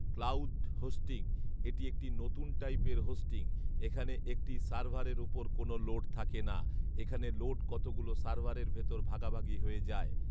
cloud hosting এটি একটি নতুন টাইপের হোস্টিং, এখানে একটি সার্ভারের ওপর কোন লোড থাকে না, এখানে লোড কতগুলো সার্ভারের ভেতর ভাগাভাগি হয়ে যায়